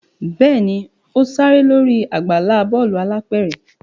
Bẹẹni, o ṣere lori agbala bọọlu alápẹrẹ